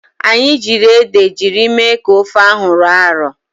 Anyị jiiri ede jiri mee ka ofe ahụ rọọ arọọ.